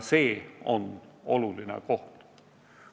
See on oluline koht.